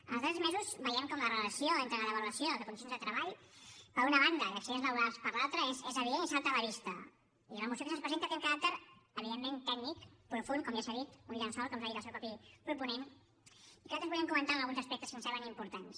en els darrers mesos veiem com la relació entre la devaluació de condicions de treball per una banda i accidents laborals per l’altra és evident i salta a la vista i la moció que se’ns presenta té un caràcter evidentment tècnic profund com ja s’ha dit un llençol com ens ha dit el seu propi proponent i que nosaltres volíem comentar alguns aspectes que ens semblen importants